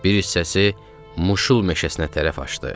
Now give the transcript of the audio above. Bir hissəsi Muşul meşəsinə tərəf açdı.